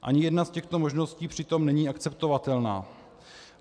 Ani jedna z těchto možností přitom není akceptovatelná.